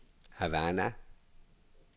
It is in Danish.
Havana